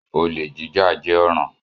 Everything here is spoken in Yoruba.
Olè jíjà jẹ́ ọ̀ràn.